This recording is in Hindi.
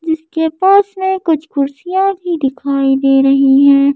जिसके पास में कुछ कुर्सियां भी दिखाई दे रही हैं।